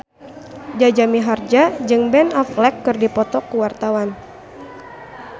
Jaja Mihardja jeung Ben Affleck keur dipoto ku wartawan